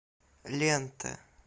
лента